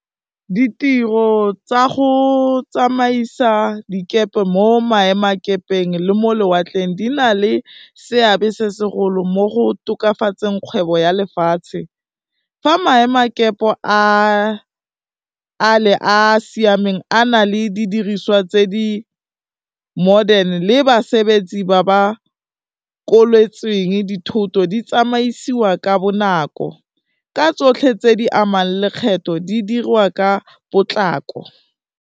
Ditiro tsa go tsamaisa dikepe mo maemakepeng le mo lewatleng, di na le seabe se segolo mo go tokafatseng kgwebo ya lefatshe, fa maemakepe a le a siameng a na le didiriswa tse di-modern le basebetsi ba ba koletsweng dithoto di tsamaisiwa ka bonako, ka tsotlhe tse di amang lekgetho di diriwa ka potlako.